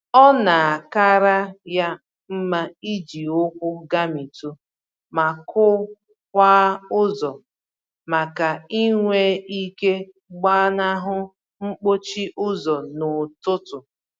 Ọ na-akara ya mma iji ụkwụ gamitụ, ma kụ-kwaa ụzọ, màkà inwe ike gbanahụ mkpọchi ụzọ n'ụtụtụ.